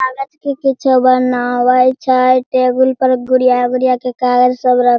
कागज के किछो बनावे छय टेबुल पर गुड़िया-गुड़िया के कागज सब रख --